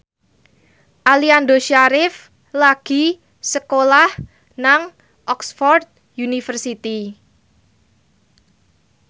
Aliando Syarif lagi sekolah nang Oxford university